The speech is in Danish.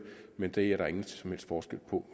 men det er der ingen som helst forskel på